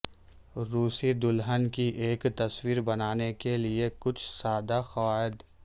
روسی دلہن کی ایک تصویر بنانے کے لئے کچھ سادہ قواعد